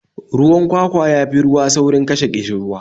Ruwan kwakwa ya fi ruwa saurin kashe ƙishirwa